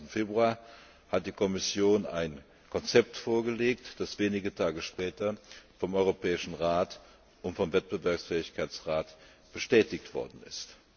25. Februar hat die Kommission ein Konzept vorgelegt, das wenige Tage später vom Europäischen Rat und vom Rat bestätigt worden ist.